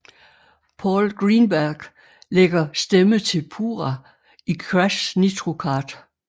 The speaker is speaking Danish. Paul Greenberg lægger stemme til Pura i Crash Nitro Kart